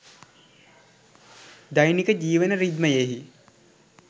දෛනික ජීවන රිද්මයෙහි